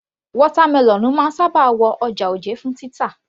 Watermelon máa ń sábà wọ ọjà òjé fún títà